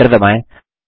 Enter दबाएँ